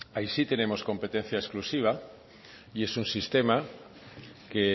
ahí sí tenemos competencia exclusiva y es un sistema que